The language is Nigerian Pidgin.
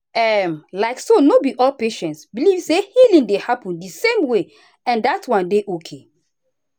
um like so no be all patients believe say healing dey happen the same way and dat one dey okay.